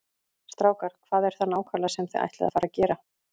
Strákar, hvað er það nákvæmlega sem þið ætlið að fara að gera?